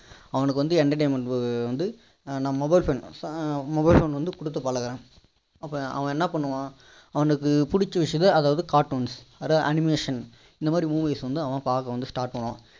அவனுக்கு வந்து entertainment வந்து mobile phone வந்து கொடுத்து பழகுறோம் அப்போ அவன் என்ன் பண்ணுவான் அவனுக்கு பிடிசா விஷயத்த அதாவது cartoons animations இந்த மாதிரி movies வந்து அவன் பார்க்க வந்து start பண்ணுவான்